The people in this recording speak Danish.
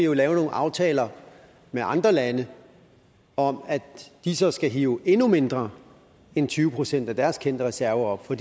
jo lave nogle aftaler med andre lande om at de så skal hive endnu mindre end tyve procent af deres kendte reserver op for